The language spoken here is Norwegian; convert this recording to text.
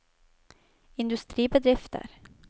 industribedrifter